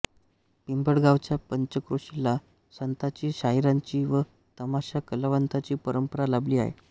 पिंपळगावच्या पंचक्रोशीला संतांची शाहिरांची व तमाशा कलावंतांची परंपरा लाभली आहे